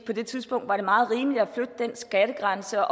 det tidspunkt var det meget rimeligt at flytte den skattegrænse